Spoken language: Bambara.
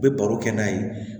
U bɛ baro kɛ n'a ye